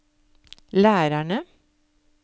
lærerne